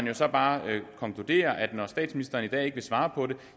jo så bare konkludere at når statsministeren i dag ikke vil svare på